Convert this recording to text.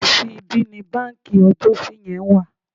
Tòsí ibí ni báǹkì ọjọ́si yẹn wà.